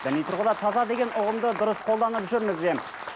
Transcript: діни тұрғыда таза деген ұғымды дұрыс қолданып жүрміз бе